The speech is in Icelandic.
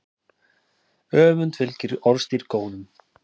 Öfund fylgir orðstír góðum.